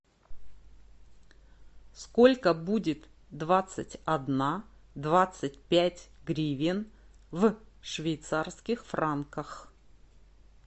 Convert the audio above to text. сколько будет двадцать одна двадцать пять гривен в швейцарских франках